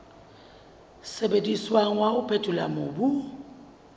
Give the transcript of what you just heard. sebediswang wa ho phethola mobu